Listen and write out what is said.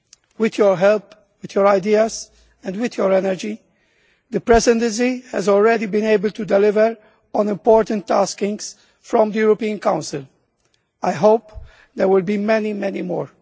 With your help, with your ideas and with your energy, the Presidency has already been able to deliver on important tasks set by the European Council. I hope there will be many, many more.